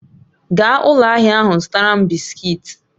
Gaa ụlọ ahịa ahụ zụtara m bisikiiti